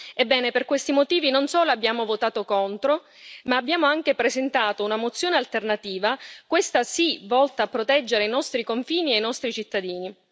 Ebbene, per questi motivi, non solo abbiamo votato contro, ma abbiamo anche presentato una mozione alternativa, questa sì volta a proteggere i nostri confini e i nostri cittadini.